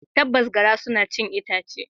Tabbas, garra suna cin itace.